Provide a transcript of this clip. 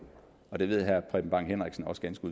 og det ved herre preben bang henriksen også ganske